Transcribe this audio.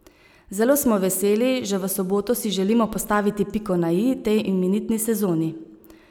Zelo smo veseli, že v soboto si želimo postaviti piko na i tej imenitni sezoni.